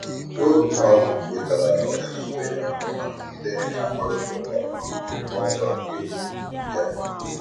O um kwètàra na ụ́jọ́ na-àtụ́ ya mà nọ̀gìdè na-àkpárị̀ta ụ́ka um n'ụ́zọ́ nkè um ya.